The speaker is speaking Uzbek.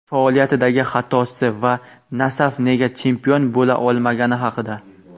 faoliyatidagi xatosi va "Nasaf" nega chempion bo‘la olmagani haqida.